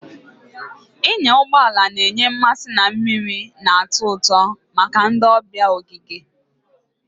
Ịnya ụgbọ ala na-enye mmasị na mmiri na-atọ ụtọ maka ndị ọbịa ogige.